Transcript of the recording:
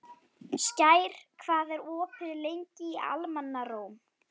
Skær, hvað er opið lengi í Almannaróm?